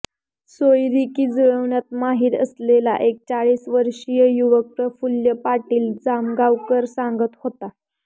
सोयरिकी जुळवण्यात माहीर असलेला एक चाळीसवर्षीय युवक प्रफुल्ल पाटील जामगावकर सांगत होता